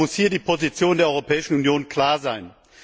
Deshalb muss hier die Position der Europäischen Union klar sein.